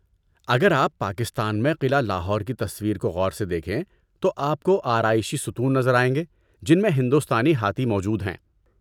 اگر آپ پاکستان میں قلعہ لاہور کی تصویر کو غور سے دیکھیں تو آپ کو آرائشی ستون نظر آئیں گے جن میں ہندوستانی ہاتھی موجود ہیں۔